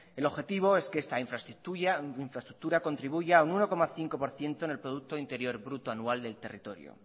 el objetivo es que esta infraestructura contribuya en un uno coma cinco por ciento en el producto interior bruto anual del territorio